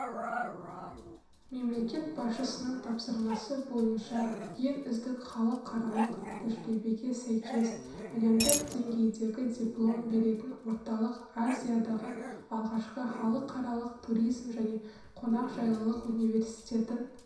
мемлекет басшысының тапсырмасы бойынша ең үздік халықаралық тәжірибеге сәйкес әлемдік деңгейдегі диплом беретін орталық азиядағы алғашқы халықаралық туризм және қонақжайлылық университетін